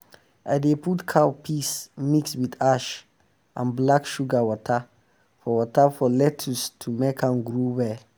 i dey put cow piss mix with ash and black sugar water for water for lettuce to make am grow well